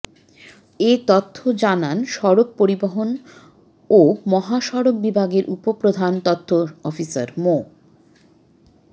এ তথ্য জানান সড়ক পরিবহন ও মহাসড়ক বিভাগের উপপ্রধান তথ্য অফিসার মো